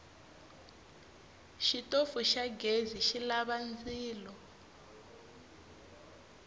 xitofu xa ghezi xilava ndzilo